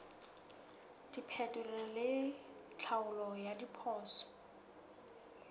diphetolelo le tlhaolo ya diphoso